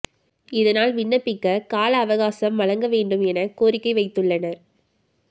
இதனால் விண்ணபிக்க கால அவகாசம் வழங்க வேண்டும் என கோரிக்கை வைத்து உள்ளனர்